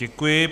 Děkuji.